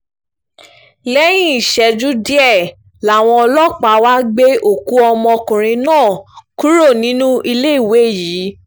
lẹ́yìn ìṣẹ́jú díẹ̀ làwọn ọlọ́pàá wàá gbé òkú ọmọkùnrin náà kúrò nínú iléèwé yìí